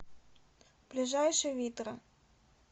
ближайший витра